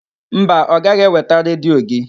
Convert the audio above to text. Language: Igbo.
Mba, ọ gaghị eweta redio gị.